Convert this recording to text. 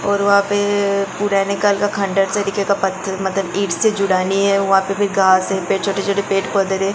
और वहां पे पूरा निकाल का खंडहर पत्थर ईट से जुड़ा नहीं हे वहां पे घास है छोटे छोटे पेड़ पौधे है।